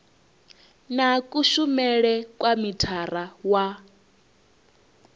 na kushumele kwa mithara wa